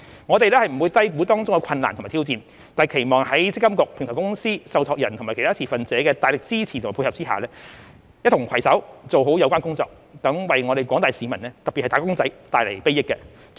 我們不會低估當中的困難及挑戰，但期望在積金局、平台公司、受託人及其他持份者的大力支持及配合下，一同攜手做好有關工作，為廣大市民特別是"打工仔"帶來禆益。